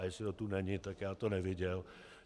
A jestli to tu je, tak já to neviděl.